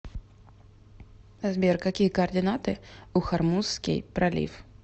сбер какие координаты у хормузский пролив